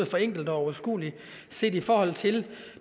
forenklet og overskuelig set i forhold til